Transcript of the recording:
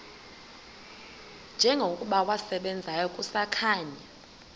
njengokuba wasebenzayo kusakhanya